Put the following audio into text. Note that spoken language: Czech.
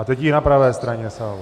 A teď i na pravé straně sálu.